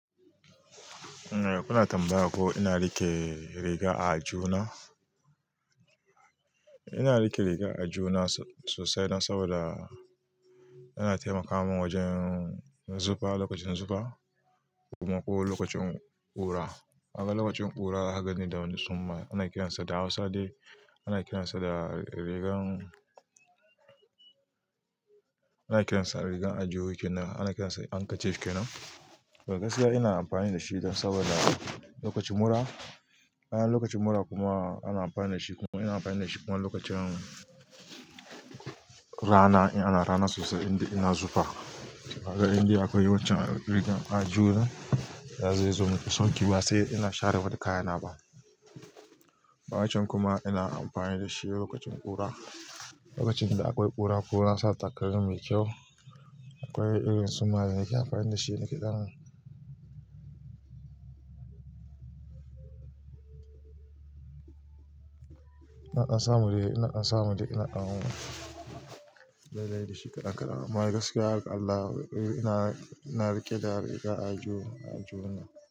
Eh kuna tambaya ko ina rike riga a aljuhu na? Ina rike riga a aljuhu na so--sosai ma saboda yana taimaka min wajen zufa lokacin zufa kuma ko lokacin ƙura. Kaga lokacin ƙura kagan ne da wani suma ana kiransa da Hausa dai ana kiransa ana kiransa rigar ajiwo kenan, ana kiransa ankachef kenan. To gaskiya ina amfani da shi don saboda lokacin mura, ana lokacin mura kuma ana amfani da shi kuma ina amfani da shi kuma lokacin rana in ana rana sosai inda ina zufa. Kaga indai akwai waccan rigar a juna kaga zai zo mun da sauke ba sai ina share wa da kayana ba. Wancan kuma ina amfani da shi lokacin ƙura. Lokacin da akwai ƙura, ƙona sata takalmi mai kyau akwai irin sumane nake amfani da shi naƙe dan. Naƙa samu dai, naƙa samu dai, naƙa dai dai da shi kadan kadan amma agaskiya har ga Allah ina, ina rike da riga a juna, a aljihuna.